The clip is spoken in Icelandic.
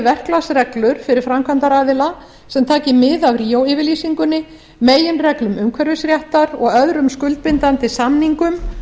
verklagsreglur fyrir framkvæmdaraðila sem taki mið af ríó yfirlýsingunni meginreglum umhverfisréttar og öðrum skuldbindandi samningum